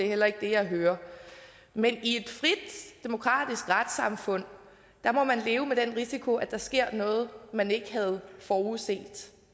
heller ikke det jeg hører men i et frit demokratisk retssamfund må man leve med den risiko at der sker noget man ikke havde forudset